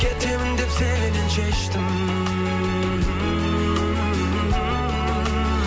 кетемін деп сенен шештім